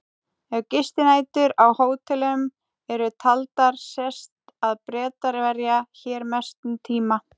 Ef gistinætur á hótelum eru taldar sést að Bretar verja hér mestum tíma.